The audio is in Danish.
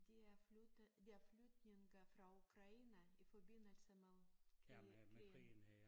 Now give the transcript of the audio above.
De er flyttet de er flygtninge fra Ukraine i forbindelse med krig krigen